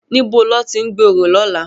Nibó lòti n gbé óró lòlá?